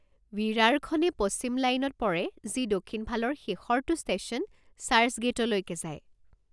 ৱিৰাৰখনে পশ্চিম লাইনত পৰে যি দক্ষিণফালৰ শেষৰটো ষ্টেশ্যন চাৰ্চগেইটলৈকে যায়।